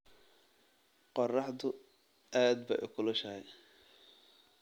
Qorraxdu aad bay u kulushahay